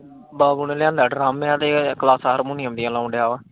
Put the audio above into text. ਬਾਬੂ ਨੇ ਲਿਆਂਦਾ ਡਰੰਮ ਆ ਤੇ ਕਲਾਸਾਂ ਹਾਰਮੋਨੀਅਮ ਦੀਆ ਲਾਉਣ ਦੀਆਂ ਲਾਉਣ ਦਿਆਂ ਵਾ।